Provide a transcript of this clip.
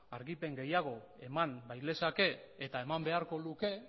argipen gehiago eman bailezake eta eman beharko luke